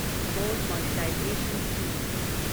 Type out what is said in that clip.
gold monetisation scheme